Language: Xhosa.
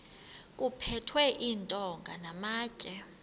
kuphethwe iintonga namatye